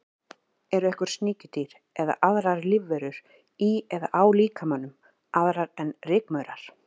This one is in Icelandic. Eru einhver sníkjudýr eða aðrar lífverur í eða á líkamanum, aðrar en rykmaurar?